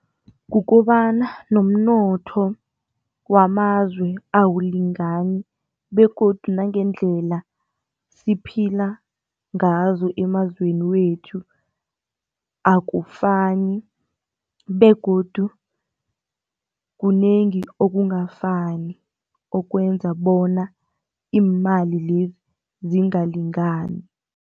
Kukobana nomnotho wamazwe abulingani begodu nangendlela siphila ngazo emazweni wethu akufani begodu kunengi okungafani okwenza bona iimali lezi zingalingani.